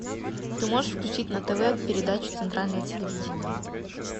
ты можешь включить на тв передачу центральное телевидение